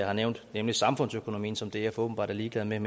har nævnt nemlig samfundsøkonomien som df åbenbart er ligeglad med